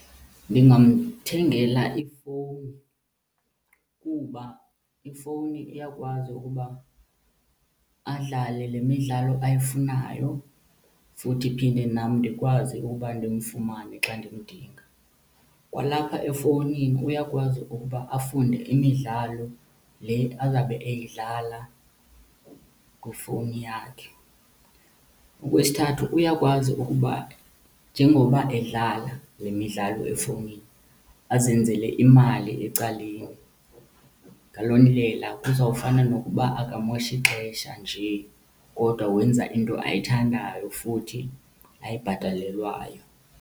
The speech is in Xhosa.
Ndingamthengela ifowuni kuba ifowuni iyakwazi ukuba adlale le midlalo ayifunayo futhi phinde nam ndikwazi uba ndimfumane xa ndimdinga. Kwalapha efowunini uyakwazi ukuba afunde imidlalo le azawube eyidlala kwifowuni yakhe. Okwesithathu, uyakwazi ukuba njengoba edlala le midlalo efowunini azenzele imali ecaleni. Ngaloo ndlela kuzawufana nokuba akamoshi xesha njee kodwa wenza into ayithandayo futhi ayibhatalelwayo.